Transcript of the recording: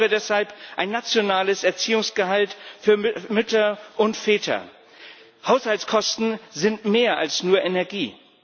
Ich fordere deshalb ein nationales Erziehungsgehalt für Mütter und Väter. Haushaltskosten sind mehr als nur Energie.